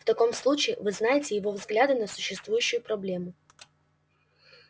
в таком случае вы знаете его взгляды на существующую проблему